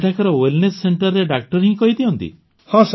ସେଠାକାର ୱେଲନେସ୍ ସେଣ୍ଟରେ ଡାକ୍ତର ହିଁ କହିଦିଅନ୍ତି